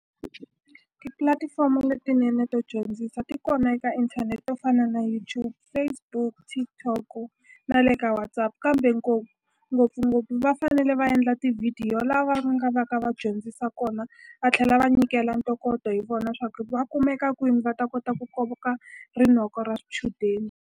Tipulatifomo letinene to dyondzisa ti kona eka inthanete to fana na YouTube Facebook TikTok na le ka Whatsapp kambe ngopfungopfu va fanele va endla tivhidiyo lava va nga va ka va dyondzisa kona va tlhela va nyikela ntokoto hi vona swa ku va kumeka kwini va ta kota ku koka rinoko ra swichudeni.